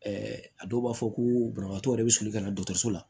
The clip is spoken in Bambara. a dɔw b'a fɔ ko banabagatɔ yɛrɛ bɛ soli ka na dɔgɔtɔrɔso la